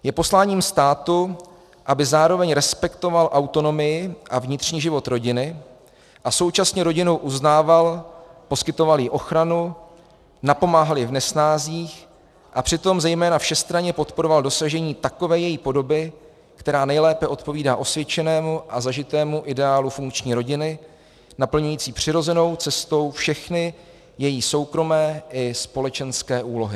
Je posláním státu, aby zároveň respektoval autonomii a vnitřní život rodiny a současně rodinu uznával, poskytoval jí ochranu, napomáhal jí v nesnázích a přitom zejména všestranně podporoval dosažení takové její podoby, která nejlépe odpovídá osvědčenému a zažitému ideálu funkční rodiny naplňující přirozenou cestou všechny její soukromé i společenské úlohy.